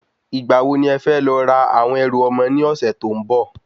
Ìgbà wo ni e fẹ́ lọ ra àwọn ẹrù ọmọ ní ọ̀sẹ̀ tó ń bò?